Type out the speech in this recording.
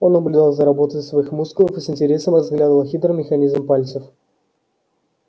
он наблюдал за работой своих мускулов и с интересом разглядывал хитрый механизм пальцев